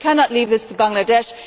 We cannot leave this to Bangladesh.